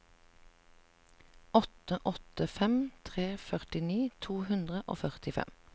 åtte åtte fem tre førtini to hundre og førtifem